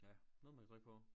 Ja noget man kan trykke på